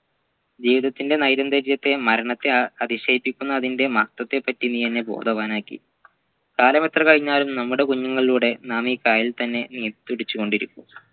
ജീവിതത്തിൻെറ നൈരന്തര്യത്തെ മരണത്തെ അ അതിശയിപ്പിക്കുന്ന അതിൻ്റെ മഹത്വത്തെ പറ്റി നീ എന്നെ ബോധവാനാക്കി കാലമെത്ര കഴിഞ്ഞാലും നമ്മുടെ കുഞ്ഞുങ്ങളിലൂടെ നാം ഈ കായലിൽ തന്നെ ഉം പിടിച്ചുകൊണ്ടിരിക്കും